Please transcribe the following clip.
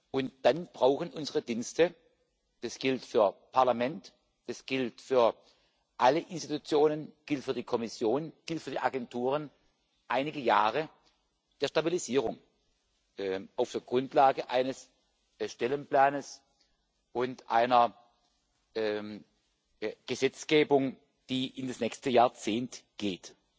Und dann brauchen unsere Dienste das gilt für das Parlament, es gilt für alle Institutionen, es gilt für die Kommission, es gilt für die Agenturen einige Jahre der Stabilisierung auf der Grundlage eines Stellenplans und einer Gesetzgebung, die in das nächste Jahrzehnt geht.